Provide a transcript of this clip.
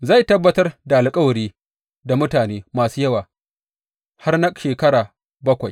Zai tabbatar da alkawari da mutane masu yawa har na shekara bakwai.